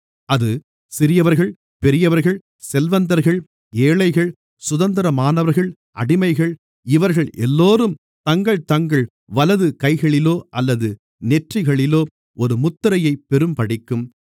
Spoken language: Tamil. அது சிறியவர்கள் பெரியவர்கள் செல்வந்தர்கள் ஏழைகள் சுதந்திரமானவர்கள் அடிமைகள் இவர்கள் எல்லோரும் தங்கள் தங்கள் வலது கைகளிலோ அல்லது நெற்றிகளிலோ ஒரு முத்திரையைப் பெறும்படிக்கும்